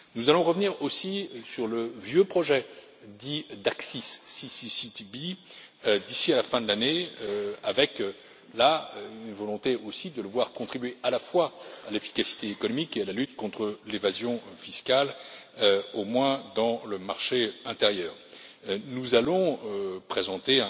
Nous allons revenir aussi sur le vieux projet dit d'ACCIS d'ici à la fin de l'année, avec une volonté aussi de le voir contribuer à la fois à l'efficacité économique et à la lutte contre l'évasion fiscale, au moins dans le marché intérieur. Nous allons présenter